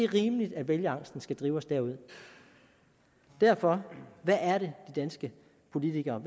rimeligt at vælgerangsten skal drive os derud derfor hvad er det de danske politikere